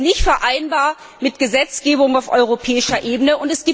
Das ist nicht vereinbar mit der Gesetzgebung auf europäischer Ebene.